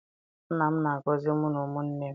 Nna m na-agọzi mụ na ụmụnne m.